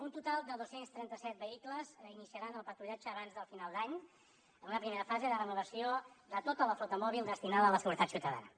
un total de dos cents i trenta set vehicles iniciaran el patrullatge abans del final d’any en una primera fase de renovació de tota la flota mòbil destinada a la seguretat ciutadana